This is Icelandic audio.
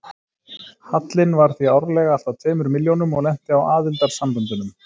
Hallinn var því árlega alltað tveimur milljónum og lenti á aðildarsamböndunum.